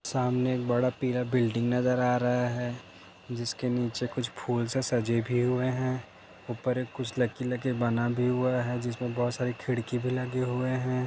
सामने एक बड़ा पीला बिल्डिंग नजर आ रहा हैं। जिसके निचे कुछ फूल से सजे भी हुए हैं। ऊपर कुछ लकीले बना भी हुआ हैं जिसमे बहुत सारी खिड़की लगे हुए हैं।